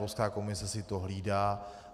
Evropská komise si to hlídá.